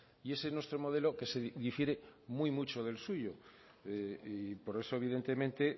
y ese es nuestro modelo que se difiere muy mucho del suyo y por eso evidentemente